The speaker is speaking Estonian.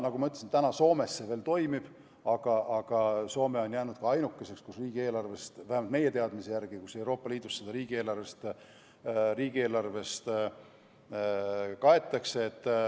Nagu ma ütlesin, Soomes see veel toimib, aga Soome on vähemalt meie teadmise järgi jäänud Euroopa Liidus ainukeseks riigiks, kus seda riigieelarvest kaetakse.